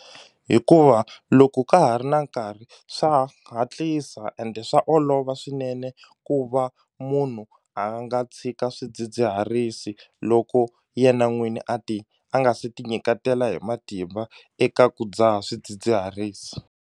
Hikuva loko ka ha ri na nkarhi swa hatlisa ende swa olova swinene ku va munhu a nga tshika swidzidziharisi loko yena n'wini a ti a nga se ti nyiketela hi matimba eka ku dzaha swidzidziharisi.